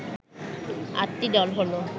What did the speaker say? আটটি দল হলো